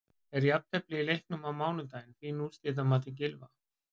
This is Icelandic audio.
Er jafntefli í leiknum á mánudag fín úrslit að mati Gylfa?